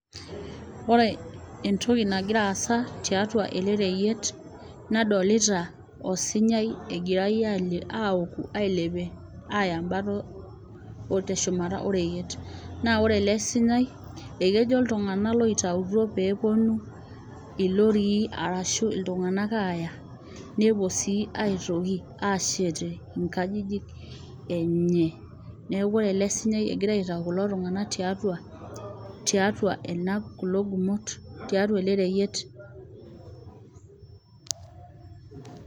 Oore entoki nagira aasa tiatua ele reyiet, nadolita osunyai egirae aouku ailepie aaya embata oo teshumata oreyiet. Naa oore ele sunyai naa ekejo iltung'anak oitautuo peyie eponu ilorii arashu iltung'anak aaya nepuo sii aitoki aashetie inkajijik enye. Niaku oore ele sunyai ogira kulo tung'anak aitau tiatua eele reyiet.